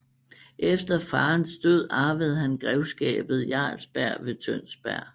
Efter faderens død arvede han grevskabet Jarlsberg ved Tønsberg